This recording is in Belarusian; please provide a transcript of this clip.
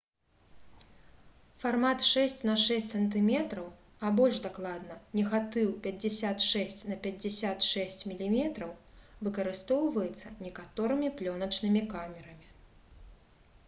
фармат 6 на 6 см а больш дакладна негатыў 56 на 56 мм выкарыстоўваецца некаторымі плёначнымі камерамі